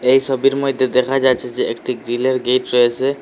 এই সোবির মইদ্যে দেখা যাচ্ছে যে একটি গ্ৰিলের গেট রয়েসে।